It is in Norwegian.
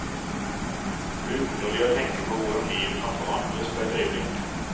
Underlig å tenke på hvordan livet kan forandres på et øyeblikk.